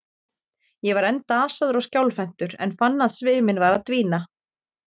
Ég var enn dasaður og skjálfhentur, en fann að sviminn var að dvína.